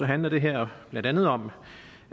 handler det her blandt andet om